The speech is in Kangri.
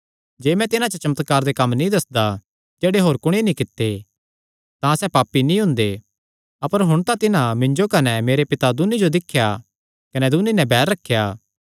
जे मैं तिन्हां च चमत्कार दे कम्म नीं करदा जेह्ड़े होर कुणी नीं कित्ते तां सैह़ पापी नीं हुंदे अपर हुण तां तिन्हां मिन्जो कने मेरे पिता दून्नी जो दिख्या कने दून्नी नैं बैर रखेया